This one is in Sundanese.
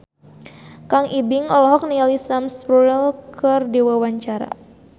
Kang Ibing olohok ningali Sam Spruell keur diwawancara